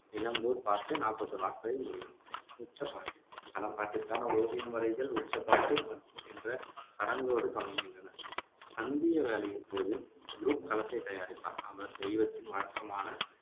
நிலம்பூர் பாட்டு நாப்பத்தி ஓரு நாட்களில் முடியும் உச்சப்பாட்டு களம்பட்டிற்கான ஓவியம் வரைதல் உச்சப்பாட்டு என்ற சடங்கோடு தொடங்குகின்றன. சந்திய வேளையின் போது குருப் களத்தைத் தயாரிப்பார். அவர் தெய்வத்தின் வழக்கமான